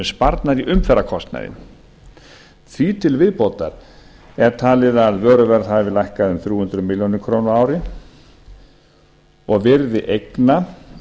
sparnaður í umferðarkostnaði því til viðbótar er talið að vöruverð hafi lækkað um þrjú hundruð milljóna króna á ári og virði eigna